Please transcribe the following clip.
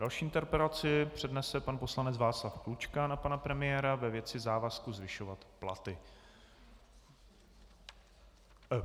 Další interpelaci přednese pan poslanec Václav Klučka na pana premiéra ve věci závazku zvyšovat platy.